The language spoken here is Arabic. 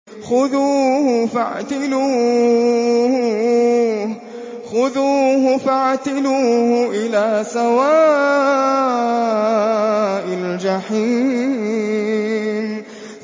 خُذُوهُ فَاعْتِلُوهُ إِلَىٰ سَوَاءِ الْجَحِيمِ